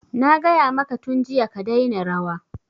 Na gaya maka tun jiya ka daina rawa!